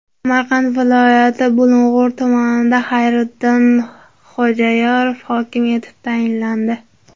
Samarqand viloyati Bulung‘ur tumaniga Xayriddin Xo‘jayorov hokim etib tayinlandi.